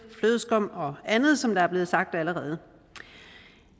flødeskum og andet som det er blevet sagt allerede